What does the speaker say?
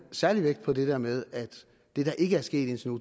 særlig vægt på det der med at det der ikke er sket indtil nu